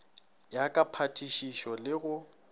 ya ka phatišišo le go